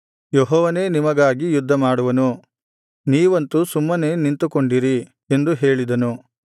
ಯೆಹೋವನೇ ನಿಮಗಾಗಿ ಯುದ್ಧಮಾಡುವನು ನೀವಂತು ಸುಮ್ಮನೇ ನಿಂತುಕೊಂಡಿರಿ ಎಂದು ಹೇಳಿದನು